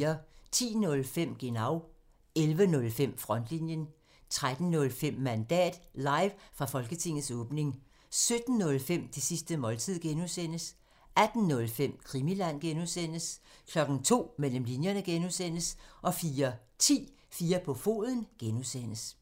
10:05: Genau (tir) 11:05: Frontlinjen (tir) 13:05: Mandat – live fra Folketingets åbning 17:05: Det sidste måltid (G) (tir) 18:05: Krimiland (G) (tir) 02:00: Mellem Linjerne (G) (tir) 04:10: 4 på Foden (G) (tir)